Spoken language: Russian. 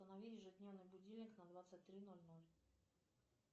установи ежедневный будильник на двадцать три ноль ноль